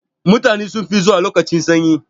Mutane sun fi zuwa lokacin sanyi.